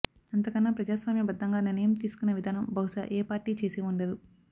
అంతకన్నా ప్రజాస్వామ్య బద్దంగా నిర్ణయం తీసుకునే విధానం బహుశా ఏ పార్టీ చేసి ఉండదు